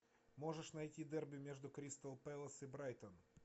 можешь найти дерби между кристал пэлас и брайтон